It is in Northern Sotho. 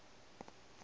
a timeletše o be a